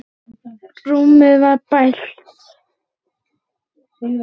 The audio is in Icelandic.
Rúmið var bælt.